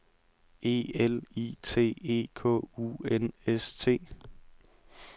E L I T E K U N S T